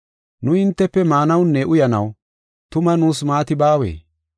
Nu hintefe maanawunne uyanaw tuma nuus maati baawee?